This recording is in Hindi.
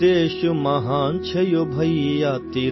अपना देश महान है भैया